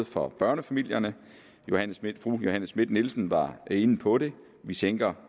for børnefamilierne fru johanne schmidt nielsen var inde på det vi sænker